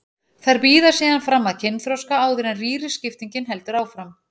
Þær bíða síðan fram að kynþroska áður en rýriskiptingin heldur áfram.